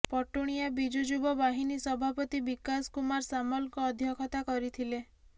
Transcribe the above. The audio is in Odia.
ପଟୁଣିଆ ବିଜୁ ଯୁବ ବାହିନୀ ସଭାପତି ବିକାଶ କୁମାର ସାମଲଙ୍କ ଅଧ୍ୟକ୍ଷତା କରିଥିଲେ